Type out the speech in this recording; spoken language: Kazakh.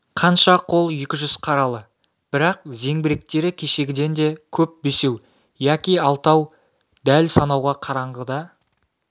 қанша қол екі жүз қаралы бірақ зеңбіректері кешегіден де көп бесеу яки алтау дәл санауға қараңғыда